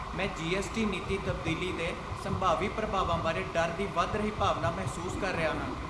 ਮੈਂ ਜੀ.ਐਸ.ਟੀ. ਨੀਤੀ ਤਬਦੀਲੀ ਦੇ ਸੰਭਾਵੀ ਪ੍ਰਭਾਵਾਂ ਬਾਰੇ ਡਰ ਦੀ ਵਧ ਰਹੀ ਭਾਵਨਾ ਮਹਿਸੂਸ ਕਰ ਰਿਹਾ ਹਾਂ।